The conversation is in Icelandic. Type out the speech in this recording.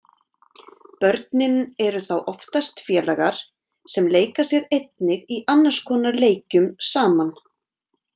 Börnin eru þá oftast félagar sem leika sér einnig í annars konar leikjum saman.